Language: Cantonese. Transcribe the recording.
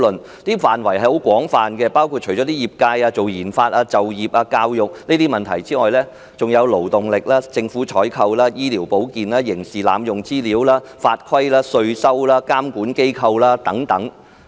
該建議書的範圍很廣泛，除了業界、研發、就業、教育等問題外，還涉及勞動力、政府採購、醫療保健、刑事濫用資料、法規、稅收、監管機構等。